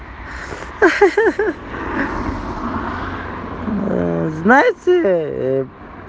ха-ха знаете